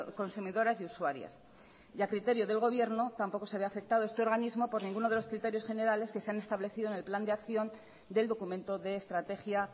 consumidoras y usuarias y a criterio del gobierno tampoco se ve afectado este organismo por ninguno de los criterios generales que se han establecido en el plan de acción del documento de estrategia